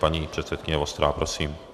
Paní předsedkyně Vostrá, prosím.